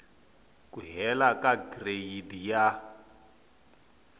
ku hela ka gireyidi ya